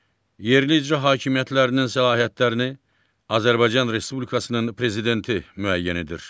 Yerli icra hakimiyyətlərinin səlahiyyətlərini Azərbaycan Respublikasının Prezidenti müəyyən edir.